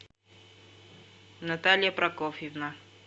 наталья прокофьевна